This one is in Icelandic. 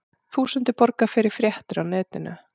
Þúsundir borga fyrir fréttir á netinu